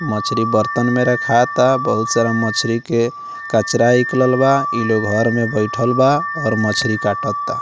मछरी बर्तन में रखाता बहुत सारा मछरी के कचरा निकलल बा इ लोग घर में बइठल बा और मछरी काटता।